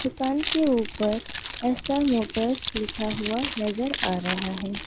दुकान के ऊपर एस_आर मोटर्स लिखा हुआ नजर आ रहा है।